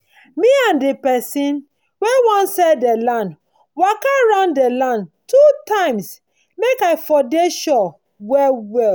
me and dey pesin wen wan sell dey land waka round dey land two times make i for dey sure well well